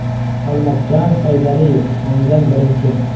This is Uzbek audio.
Xolmatjon Saydaliyev (o‘ngdan birinchi).